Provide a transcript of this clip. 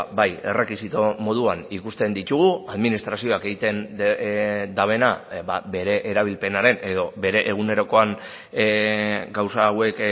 bai errekisito moduan ikusten ditugu administrazioak egiten duena bere erabilpenaren edo bere egunerokoan gauza hauek